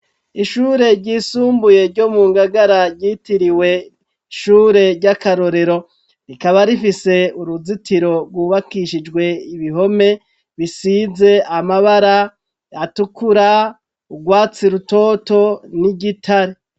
Ishure ryisumbuye ryo mu Ngagara ryitiriwe ishure ry'akarorero rikaba rifise uruzitiro rwubakishijwe ibihome bisize amabara atukura urwatsi rutoto n'igitare